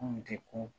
Kunun tɛ ko